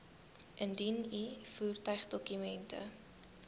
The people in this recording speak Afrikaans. indien u voertuigdokumente